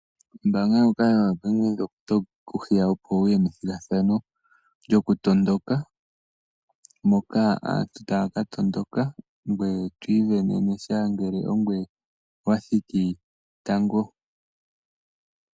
Ombanga ndjoka yoBank Windhoek otayi ku hiya opo wuye methigathano lyokutondoka. Moka aantu tayaka tondoka ngoye twi ivenene sha ngele ongoye wathiki tango.